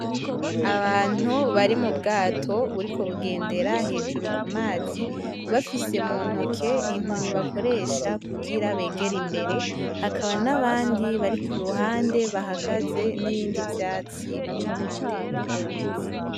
Abantu bari mu bwato buriko bugendera hejuru ku mazi, bafise mu ntoke inkoni bakoresha kugira begere imbere, hakaba n'abandi bari ku ruhande bahagaze n'ibindi vyatsi kuruhande yurwo ruzi.